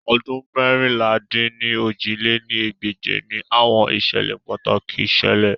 Ọdun meérinlá-dín-ní-ojì lé ní ẹgbẹ́je ni awọn iṣẹlẹ pataki ṣẹlẹ